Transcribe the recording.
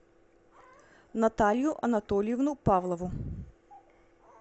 наталью анатольевну павлову